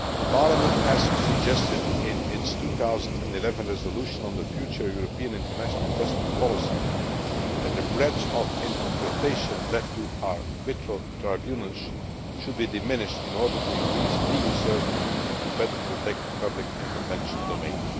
Parliament suggested in its 2011 resolution on the future European international investment policy that the breadth of interpretation left to arbitral tribunals should be reduced in order to increase legal certainty and better protect the public intervention domain.